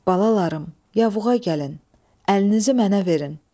Balalarım, yavuğa gəlin, əlinizi mənə verin.